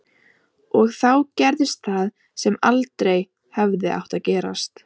Og þá gerðist það sem aldrei hefði átt að gerast.